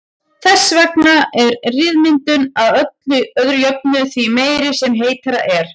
Þess vegna er ryðmyndun að öðru jöfnu því meiri sem heitara er.